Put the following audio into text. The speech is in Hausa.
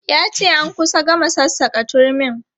Ya ce an kusa gama sassaka turmin.